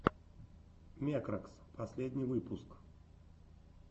мекракс последний выпуск